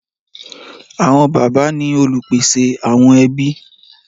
Àwọn bàbá ni olùpèsè àwọn ẹbí.